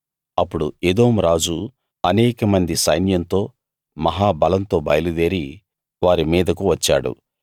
అప్పుడు ఎదోము రాజు అనేకమంది సైన్యంతో మహా బలంతో బయలుదేరి వారి మీదకు వచ్చాడు